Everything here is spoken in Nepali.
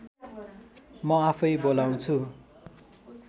म आफै बोलाउँछु